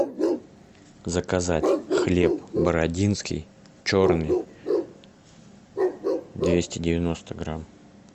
заказать хлеб бородинский черный двести девяносто грамм